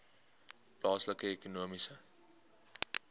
plaaslike ekonomiese